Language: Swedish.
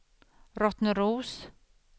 Rottneros